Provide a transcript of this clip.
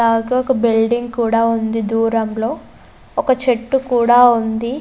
అలాగే ఒక బిల్డింగ్ కూడా ఉంది దూరంలో ఒక చెట్టు కూడా ఉంది.